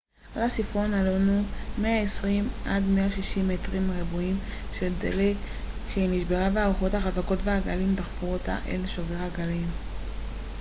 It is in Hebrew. על סיפון הלונו היו 120-160 מטרים רבועים של דלק כשהיא נשברה והרוחות החזקות והגלים דחפו אותה אל שובר הגלים